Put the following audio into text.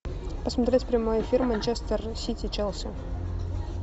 посмотреть прямой эфир манчестер сити челси